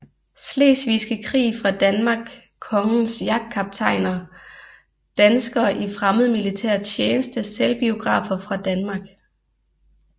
Slesvigske Krig fra Danmark Kongens jagtkaptajner Danskere i fremmed militær tjeneste Selvbiografer fra Danmark